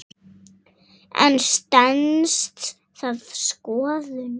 En stenst það skoðun?